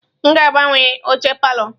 M ga-agbanwe oche palọ.